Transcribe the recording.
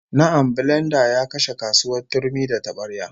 Na'am, bilenda ya kashe kasuwar turmi da tabarya